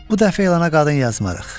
Bu dəfə elana qadın yazmarıq.